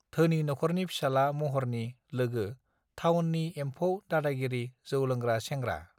धोनि नखरनि फिसाला महरनि लोगो थावननि एमफौ दादागिरि जौ लोंग्रा सेंग्रा